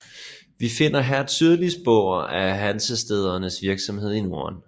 Vi finder her tydelige spor af hansestædernes virksomhed i Norden